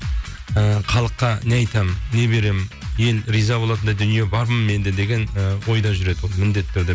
і халыққа не айтамын не беремін ел риза болатындай дүние бар ма менде деген і ойда жүреді ол міндетті түрде